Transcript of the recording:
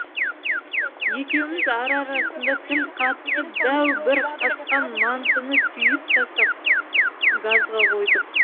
екеуміз ара арасында тіл қатысып дәу бір қасқан мантыны түйіп тастап газға қойдық